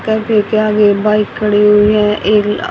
cafe के आगे bike खड़ी हुई है एक अह--